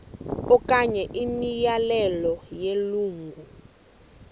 okanye imiyalelo yelungu